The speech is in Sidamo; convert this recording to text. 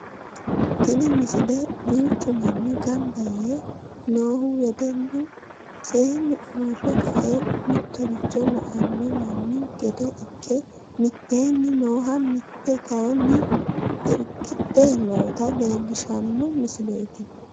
tini misile duuchu manni ganba yee noohu wedellu seenni uurre ka"e mittoricho la"anno manni gede ikke mitteenni nooha mitte kayeenni irkidhe noota leellishshanno misileeti